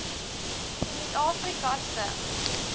suid afrika se